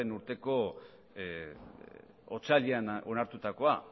urteko otsailean onartutakoa